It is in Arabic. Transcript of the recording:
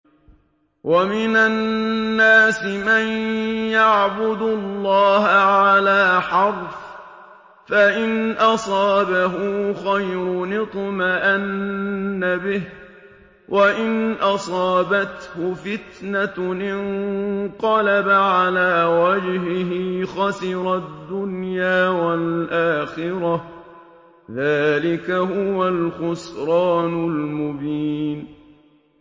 وَمِنَ النَّاسِ مَن يَعْبُدُ اللَّهَ عَلَىٰ حَرْفٍ ۖ فَإِنْ أَصَابَهُ خَيْرٌ اطْمَأَنَّ بِهِ ۖ وَإِنْ أَصَابَتْهُ فِتْنَةٌ انقَلَبَ عَلَىٰ وَجْهِهِ خَسِرَ الدُّنْيَا وَالْآخِرَةَ ۚ ذَٰلِكَ هُوَ الْخُسْرَانُ الْمُبِينُ